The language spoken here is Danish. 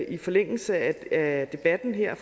i forlængelse af debatten her